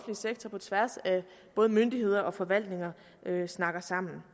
sektor på tværs af både myndigheder og forvaltninger snakker sammen